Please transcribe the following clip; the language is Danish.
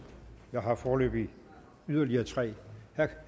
jeg har foreløbig yderligere tre herre